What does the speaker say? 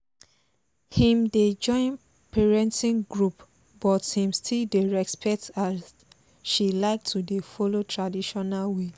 im dey join parenting group but im still dey respect as she like to dey follow traditional way